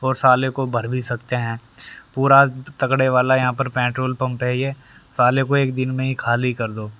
और साले को भर भी सकते हैं पूरा तगड़े वाला यहां पर पेट्रोल पंप है ये साले को एक दिन में ही खाली कर दो--